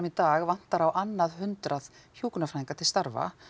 í dag vantar á annað hundrað hjúkrunarfræðinga til starfa